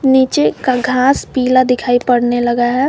नीचे का घास पीला दिखाई पड़ने लगा है।